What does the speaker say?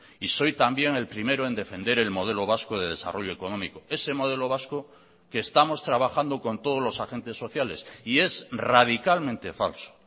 y soy también el primero en defender el modelo vasco de desarrollo económico ese modelo vasco que estamos trabajando con todos los agentes sociales y es radicalmente falso